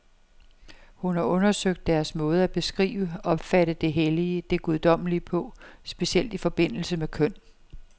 Hun har undersøgt deres måde at beskrive, opfatte det hellige, det guddommelige på, specielt i forbindelse med køn.